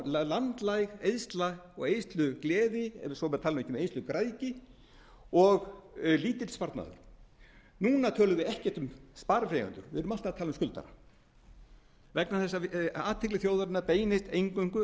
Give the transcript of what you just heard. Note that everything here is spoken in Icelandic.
landlæg eyðsla og eyðslugleði svo maður tali ekki um eyðslugræðgi og lítill sparnaður núna tölum við ekkert um sparifjáreigendur við erum alltaf að tala um skuldara vegna þess að athygli þjóðarinnar beinist eingöngu